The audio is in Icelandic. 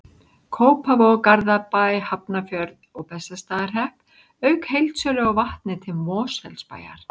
Kópavog, Garðabæ, Hafnarfjörð og Bessastaðahrepp, auk heildsölu á vatni til Mosfellsbæjar.